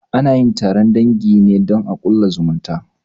Anayin taron dangi ne don a ƙulla zumunci